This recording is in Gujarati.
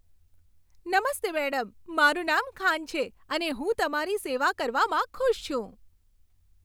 નમસ્તે મેડમ, મારું નામ ખાન છે અને હું તમારી સેવા કરવામાં ખુશ છું.